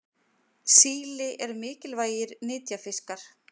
Síli eru mikilvægir nytjafiskar.